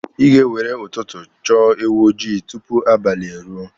Ị ga-ewere ụtụtụ chọọ ewu ojii tupu abalị eruo.